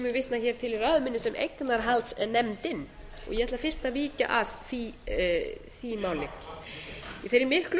vitna hér til í ræðu minni sem eignarhaldsnefndin og ég ætla fyrst að víkja að því máli í þeirri miklu